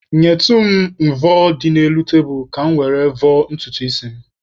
Nyetụ m mvọ dị n'elu tebulu ka mụ were vọọ ntutu isi m